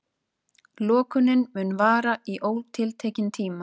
Lokunin mun vara í ótiltekinn tíma